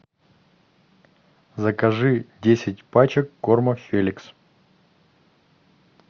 закажи десять пачек корма феликс